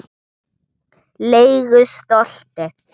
legu stolti.